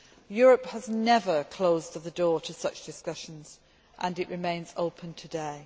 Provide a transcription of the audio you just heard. Europe has never closed the door to such discussions, and it remains open today.